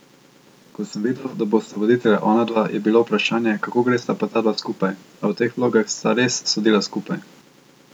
Ko sem videl, da bosta voditelja onadva, je bilo vprašanje, kako gresta pa ta dva skupaj, a v teh vlogah sta res sodila skupaj.